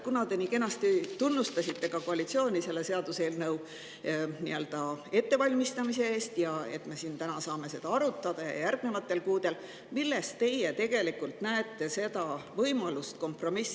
Kuna te nii kenasti tunnustasite koalitsiooni seaduseelnõu ettevalmistamise eest ja selle eest, et me saame seda siin täna ja järgnevatel kuudel arutada, siis, milles teie näete võimalust sõlmida kompromiss.